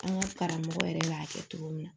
An ka karamɔgɔ yɛrɛ b'a kɛ cogo min na